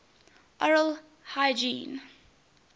oral hygiene